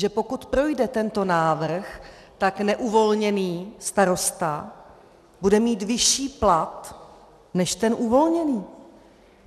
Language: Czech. Že pokud projde tento návrh, tak neuvolněný starosta bude mít vyšší plat než ten uvolněný.